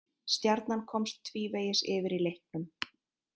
Stjarnan komst tvívegis yfir í leiknum